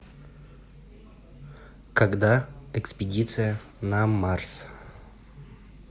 когда экспедиция на марс